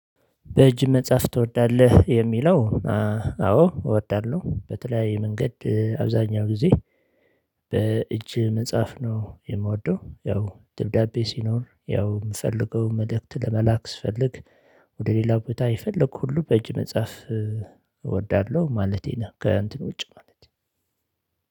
በእጅ መጻፍ ትወዳለህ የሚለው? አዎ እወዳሎሁ በተለያይ መንገድ አብዛኛው ጊዜ በእጅ መጻፍ ነው የምወደው። ያው ደብዳቤ ሲኖር ያው የምፈልገው መልእክት ለመላክ ስፈልግ። ወደ ሌላው ቦታ የፈለኩት ሁሉ በእጅ መጻፍ እወዳለሁ ማለቴ ነህ ከእንትን ውጭ ማለት ነው።